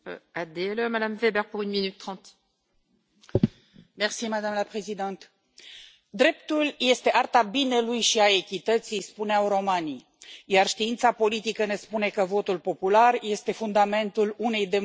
Doamnă președintă, dreptul este arta binelui și a echității, spuneau romanii, iar știința politică ne spune că votul popular este fundamentul unei democrații și legea este garantul acestui fundament.